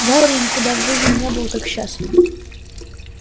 гарри никогда в жизни не был так счастлив